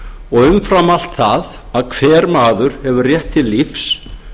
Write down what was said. og umfram allt það að hver maður hefur rétt til lífs